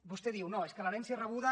vostè diu no és que l’herència rebuda